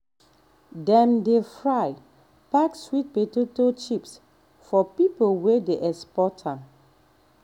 dem dey fry pack sweet potato chips for people wey dey export am